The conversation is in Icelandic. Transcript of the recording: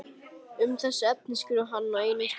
Um þessi efni skrifar hann á einum stað